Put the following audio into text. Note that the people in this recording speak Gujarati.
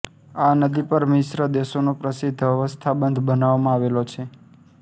આ નદી પર મિસ્ર દેશનો પ્રસિદ્ધ અસ્વાન બંધ બનાવવામાં આવેલો છે